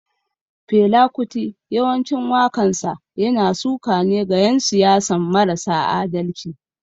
Fela kuti yawancin wakansa yana suka ne ga yan siyasan marasa adalci.